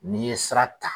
N'i ye sira ta